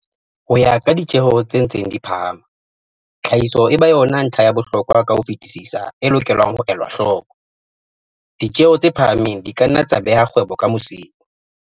Ho ya ka ditjeho tse ntseng di phahama, tlhahiso e ba yona ntlha ya bohlokwa ka ho fetisisa e lokelang ho elwa hloko. Ditjheho tse phahameng di ka nna tsa beha kgwebo ka mosing.